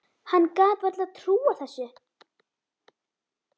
Hann gat varla trúað þessu.